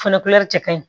Fɛnɛ cɛ ka ɲi